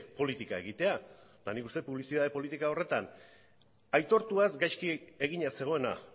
politika egitea eta nik uste dut publizitate politika horretan aitortuaz gaizki egina zegoena